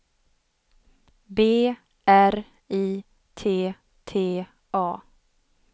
B R I T T A